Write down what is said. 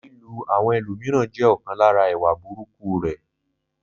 Lílù àwọn ẹlòmíràn jẹ́ ọ̀kan lára ìwà burúkú rẹ̀.